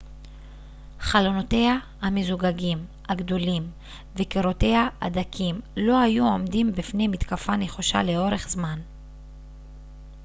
חלונותיה המזוגגים הגדולים וקירותיה הדקים לא היו עומדים בפני מתקפה נחושה לאורך זמן